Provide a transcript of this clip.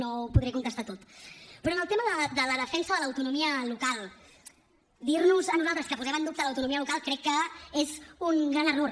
no ho podré contestar tot però en el tema de la defensa de l’autonomia local dir nos a nosaltres que posem en dubte l’autonomia local crec que és un gran error